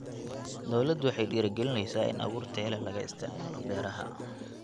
Dawladdu waxay dhiirigelinaysaa in abuur tayo leh laga isticmaalo beeraha.